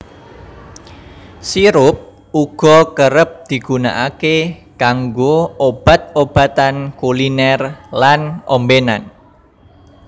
Sirup uga kerep digunakaké kanggo obat obatan kulinèr lan ombènan